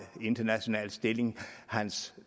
international stilling for at hans